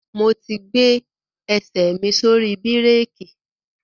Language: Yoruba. Mo ti gbé ẹsẹ̀ mi sórí bírèkì.